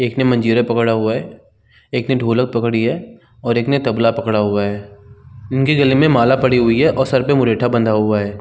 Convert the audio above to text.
एक ने मंजीरा पकड़ा हुआ है. एक ने ढोलक पकड़ी है और एक ने तबला पकड़ा हुआ है। इनके गले में माला पड़ी हुई है और सर में मुरेठा बंधा हुआ है।